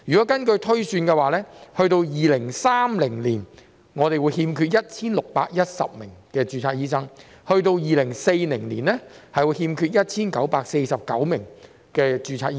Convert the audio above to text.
根據推算，到了2030年，我們會欠缺 1,610 名註冊醫生；到了2040年，會欠缺 1,949 名註冊醫生。